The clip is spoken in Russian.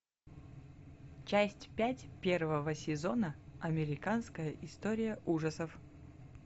часть пять первого сезона американская история ужасов